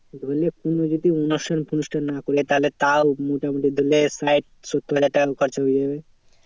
ধরলে কোনো যদি অনুষ্ঠান ফনুষ্ঠান না করি তাহলে তাও মোটামুটি ধরলে প্রায় সত্তর হাজার টাকার মতো খরচা হয়ে যাবে।